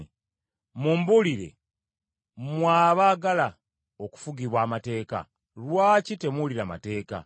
Mumbulire, mmwe abaagala okufugibwa amateeka, lwaki temuwulira mateeka?